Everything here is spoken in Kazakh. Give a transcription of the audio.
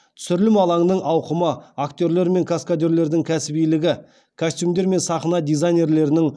түсірілім алаңының ауқымы актерлер мен каскадерлердің кәсібилігі костюмдер мен сахна дизайнерлерінің